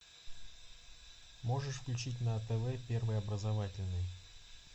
можешь включить на тв первый образовательный